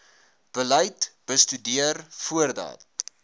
beleid bestudeer voordat